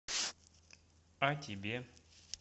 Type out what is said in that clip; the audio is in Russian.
а тебе